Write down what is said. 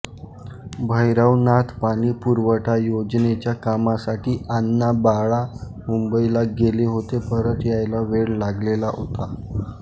भयरवनाथ पाणी पुरवठा योजनेच्या कामासाठी आण्णा बाळां मुंबईला गेले होते परत यायला वेळ लागलेला होता